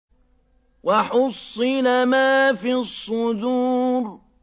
وَحُصِّلَ مَا فِي الصُّدُورِ